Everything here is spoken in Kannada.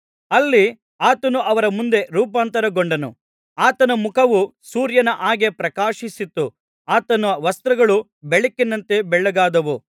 ಅಲ್ಲಿ ಆತನು ಅವರ ಮುಂದೆ ರೂಪಾಂತರಗೊಂಡನು ಆತನ ಮುಖವು ಸೂರ್ಯನ ಹಾಗೆ ಪ್ರಕಾಶಿಸಿತು ಆತನ ವಸ್ತ್ರಗಳು ಬೆಳಕಿನಂತೆ ಬೆಳ್ಳಗಾದವು